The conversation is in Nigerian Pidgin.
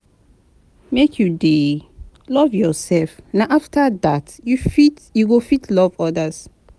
Make you dey love yoursef na afta dat you go fit love odas.